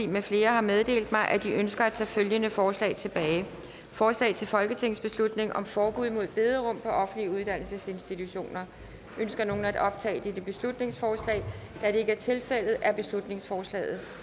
med flere har meddelt mig at de ønsker at tage følgende forslag tilbage forslag til folketingsbeslutning om forbud mod bederum på offentlige uddannelsesinstitutioner ønsker nogen at optage dette beslutningsforslag da det ikke er tilfældet er beslutningsforslaget